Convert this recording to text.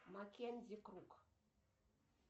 маккензи круг